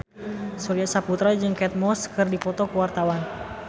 Surya Saputra jeung Kate Moss keur dipoto ku wartawan